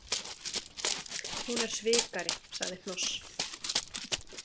Hún er svikari, sagði Hnoss.